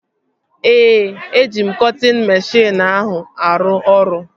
Ee, eji m cọtịn meshịn ahụ arụ ọrụ